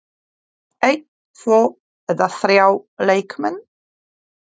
Einn, tvo eða þrjá leikmenn?